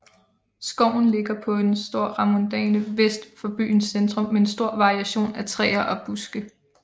Skoven ligger på en stor randmoræne vest for byens centrum med en stor variation af træer og buske